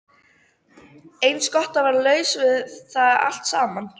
Eins gott að vera laus við það allt saman.